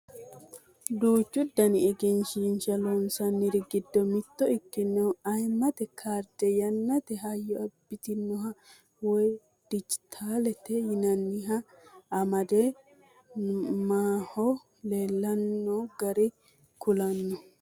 Duuchu daninni egensiishsha loonsanniri giddo mitto ikkinoha ayiimmate kaarde yannate hayyo abbitinoha woye dijjitaalete yinanniha amande mannaho leellanno garinni kullanni